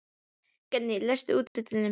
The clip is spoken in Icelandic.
Geirný, læstu útidyrunum.